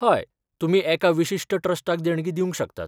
हय, तुमी एका विशिश्ट ट्रस्टाक देणगी दिवंक शकतात.